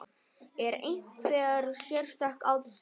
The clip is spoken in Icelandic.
Er einhver sérstök ástæða?